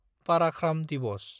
पाराख्राम दिवस